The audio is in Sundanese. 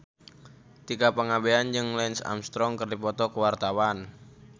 Tika Pangabean jeung Lance Armstrong keur dipoto ku wartawan